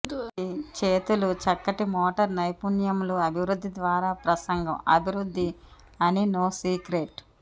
ఇది చేతులు చక్కటి మోటార్ నైపుణ్యములు అభివృద్ధి ద్వారా ప్రసంగం అభివృద్ధి అని నో సీక్రెట్